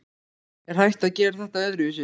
Er hægt að gera þetta öðruvísi?